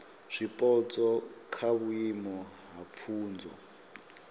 zwipotso kha vhuimo ha pfunzo